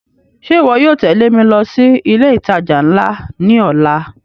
Ṣe iwọ yóò tẹle mi lọ si ile itaja nla ni ọla?